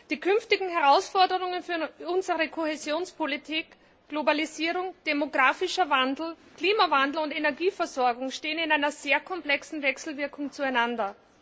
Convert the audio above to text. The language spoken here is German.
Die künftigen Herausforderungen für unsere Kohäsionspolitik Globalisierung, demographischer Wandel, Klimawandel und Energieversorgung stehen in einer sehr komplexen Wechselwirkung zueinander.